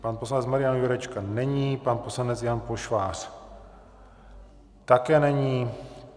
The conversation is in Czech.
Pan poslanec Marian Jurečka není, pan poslanec Jan Pošvář také není.